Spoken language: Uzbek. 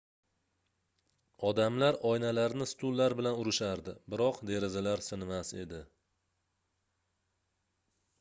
odamlar oynalarni stullar bilan urishardi biroq derazalar sinmas edi